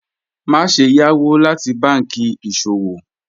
Maṣe yá owo lati bánkì iṣọwọ́